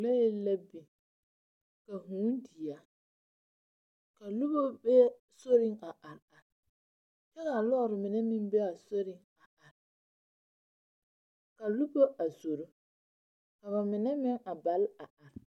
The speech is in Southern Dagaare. Lɔɛ la biŋ, ka hũũ di a, ka noba be soriŋ a are are kyɛ ka lɔɔre mine meŋ be a soriŋ. Ka noba a zoro, ka ba mine meŋ a bal a are.